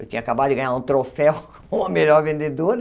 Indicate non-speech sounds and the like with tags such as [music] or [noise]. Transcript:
Eu tinha acabado de ganhar um troféu [laughs] como a melhor vendedora.